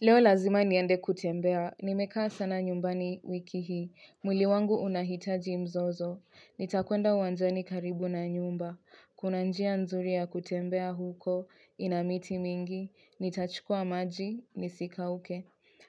Leo lazima niende kutembea, nimekaa sana nyumbani wiki hii, mwili wangu unahitaji mzozo, nitakwenda uwanjani karibu na nyumba, kuna njia nzuri ya kutembea huko, inamiti mingi, nitachukua maji, nisika uke.